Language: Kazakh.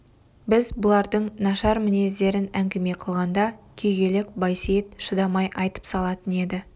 біз бұлардың нашар мінездерін әңгіме қылғанда күйгелек байсейіт шыдамай айтып салатын еді